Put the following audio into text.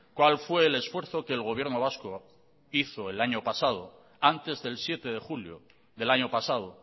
cual fue el esfuerzo que el gobierno vasco hizo el año pasado antes del siete de julio del año pasado